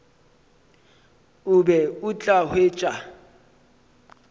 o be o tla hwetša